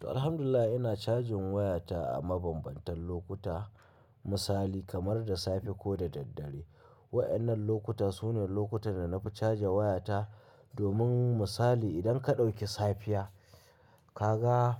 To Alhamdulillah ina cajin wayata a mabambantan lokuta, misali kamar da safe ko da daddare. Wa'annan lokuta su ne lokutan da na fi caja wayata domin misali idan ka ɗauki safiya ka ga